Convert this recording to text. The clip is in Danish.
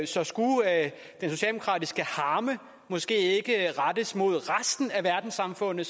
så skulle den socialdemokratiske harme måske ikke rettes mod resten af verdenssamfundet